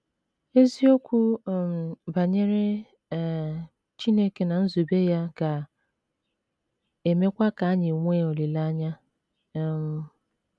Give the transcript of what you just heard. Eziokwu um banyere um Chineke na nzube ya ga - emekwa ka anyị nwee olileanya um.